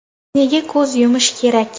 Nega ko‘z yumish kerak?